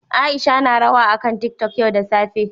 Aisha na rawa akan tiktok yau da safe